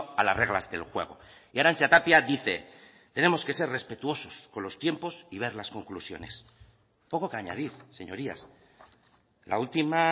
a las reglas del juego y arantza tapia dice tenemos que ser respetuosos con los tiempos y ver las conclusiones poco que añadir señorías la última